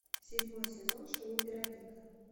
седьмой сезон шоу вероника